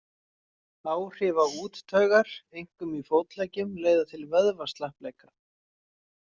Áhrif á úttaugar, einkum í fótleggjum, leiða til vöðvaslappleika.